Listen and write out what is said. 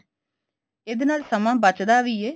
ਇਹਦੇ ਨਾਲ ਸਮਾਂ ਬੱਚਦਾ ਵੀ ਐ